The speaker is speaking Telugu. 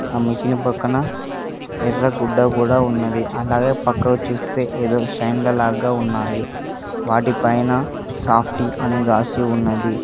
ఆ మిషన్ పక్కన ఎర్రగుడ్డ కూడా ఉన్నది అలాగే పక్కకు చూస్తే ఏదో షైన్ల లాగా ఉన్నాయి వాటిపైన సాఫ్టీ అని రాసి ఉన్నది.